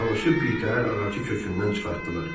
Çalışıb birtəhər ağacı kökündən çıxartdılar.